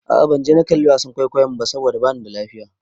A'a ban je na kalli wasan kwaikwayon ba saboda bani da lafiya.